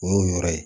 O y'u yɛrɛ ye